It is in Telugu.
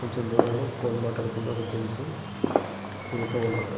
కొంచెం దూరంలోని ఫోన్ మాట్లాడుకుంటున్న ఒక జెంట్స్ వెళ్తున్నారు.